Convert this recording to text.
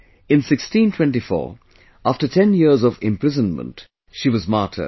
In 1624 after ten years of imprisonment she was martyred